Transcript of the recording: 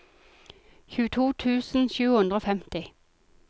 tjueto tusen sju hundre og femti